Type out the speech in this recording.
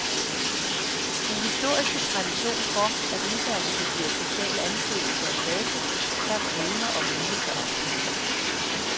Den historiske tradition for, at uddannelse giver social anseelse og status, samt evne og vilje til opsparing.